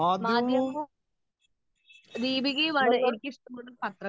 speaker 2 മധ്യവമും ദീപികയും ആണ് എനിക്ക് ഇഷ്ടപ്പെട്ട പത്രങ്ങൾ